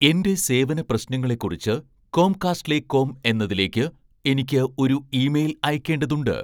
എന്റെ സേവന പ്രശ്നങ്ങളെക്കുറിച്ച് കോംകാസ്റ്റ്ലേകോം എന്നതിലേക്ക് എനിക്ക് ഒരു ഇമെയിൽ അയയ്ക്കേണ്ടതുണ്ട്